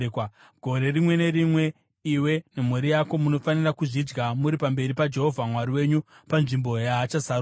Gore rimwe nerimwe iwe nemhuri yako munofanira kuzvidya muri pamberi paJehovha Mwari wenyu panzvimbo yaachasarudza.